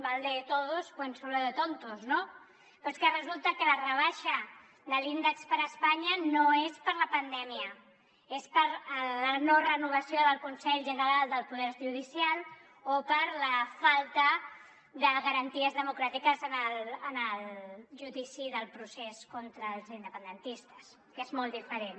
mal de todos consuelo de tontos no però és que resulta que la rebaixa de l’índex per a espanya no és per la pandèmia és per la no renovació del consell general del poder judicial o per la falta de garanties democràtiques en el judici del procés contra els independentistes que és molt diferent